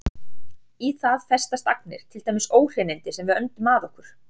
Í það festast agnir, til dæmis óhreinindi sem við öndum að okkur.